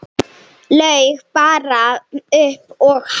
Laug bara upp á hann.